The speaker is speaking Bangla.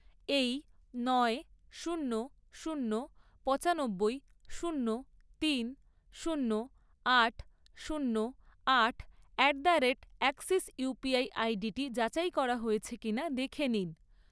এই নয়, শূন্য, শূন্য, পঁচানব্বই, শূন্য, তিন, শূন্য, আট, শূন্য, আট at the rate Axis UPI আইডিটি যাচাই করা হয়েছে কিনা দেখে নিন।